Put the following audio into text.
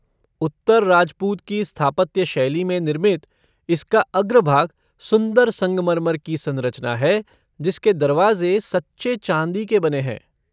उत्तर राजपूत की स्थापत्य शैली में निर्मित, इसका अग्रभाग सुंदर संगमरमर की संरचना है जिसके दरवाज़े सच्चे चांदी के बने हैं।